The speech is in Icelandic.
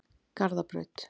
Garðabraut